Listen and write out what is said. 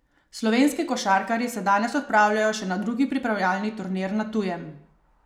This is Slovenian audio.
Slovenski košarkarji se danes odpravljajo še na drugi pripravljalni turnir na tujem.